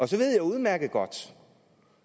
så ved jeg udmærket godt